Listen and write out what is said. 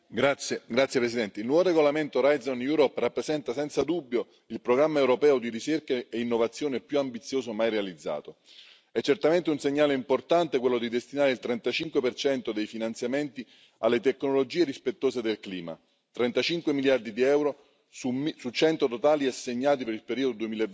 Signor Presidente, onorevoli colleghi, il nuovo regolamento Horizon Europe rappresenta senza dubbio il programma europeo di ricerca e innovazione più ambizioso mai realizzato. È certamente un segnale importante quello di destinare il 35 dei finanziamenti alle tecnologie rispettose del clima 35 miliardi di euro su 100 totali assegnati per il periodo